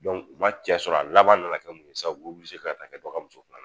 u ma cɛ sɔrɔ a laban nana kɛ mun ye sisan, u be ka taa kɛ dɔ ka muso filanan